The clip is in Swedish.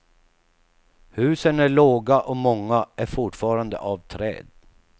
Husen är låga och många är fortfarande av trä.